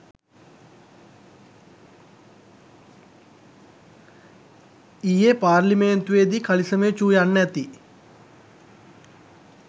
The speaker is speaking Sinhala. ඊයේ පාර්ලිමේන්තුවේදීකලිසමේ චූ යන්න ඇති